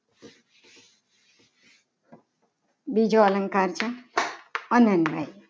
બીજો અલંકાર છે. અનમય